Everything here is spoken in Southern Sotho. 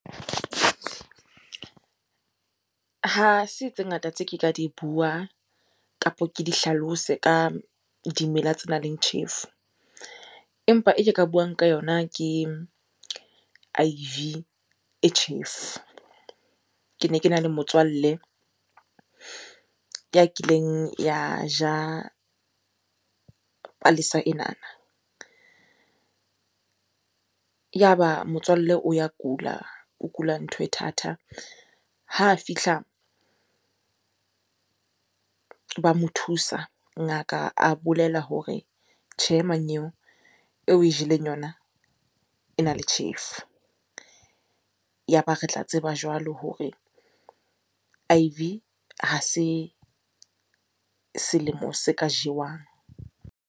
Ha se tse ngata tse ke ka di bua kapo ke di hlalose ka dimela tse nang le tjhefo. Empa e ke ka buang ka yona ke e tjhefo. Ke ne kena le motswalle ya kileng ya ja palesa enana. Yaba motswalle o ya kula, o kula ntho e thata. Ha fihla ba mo thusa, ngaka a bolela hore tjhe mmanyeo eo o e jeleng yona ena le tjhefu. Yaba re tla tseba jwalo hore ha se selemo se ka jewang.